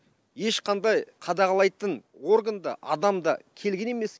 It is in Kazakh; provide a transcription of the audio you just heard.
ешқандай қадағалайтын орган да адам да келген емес